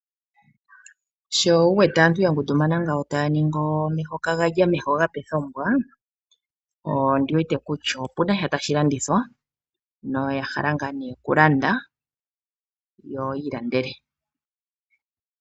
Sho wu wete aantu ya ngundumana ngawo taya ningi omeho kaga lya omeho ga pe kombwa ondi wete kutya opunasha tashi landithwa . Noya hala ngaa nee oku landa yo yiilandele.